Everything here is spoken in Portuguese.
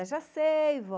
Eu já sei, vó.